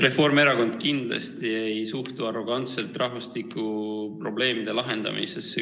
Reformierakond kindlasti ei suhtu arrogantselt rahvastikuprobleemide lahendamisse.